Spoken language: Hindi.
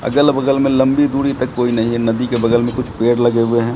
अगल बगल में लंबी दूरी तक कोई नहीं है नदी के बगल में कुछ पेड़ लगे हुए हैं।